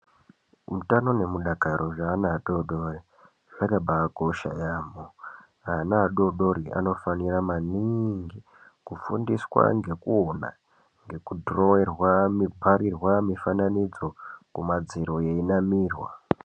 Hutano nemudakaro zveana adodori zvakaba kosha yaamo, ana adodori anofanira maningi kufundiswa ngekuona ngekudhirowerwa kuparirwa mifananidzo kumadziro yeinamirwa.